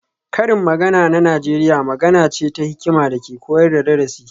Karin magana na Najeriya magana ce ta hikima da ke koyar da darasi